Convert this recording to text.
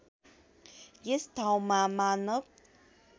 यस ठाउँमा मानव